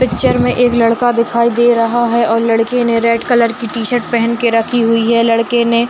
picture में एक लड़का दिखाइ दे रहा है और लड़के ने रेड कलर की टी-शर्त पेहेन के रखी हुइ है लड़के ने --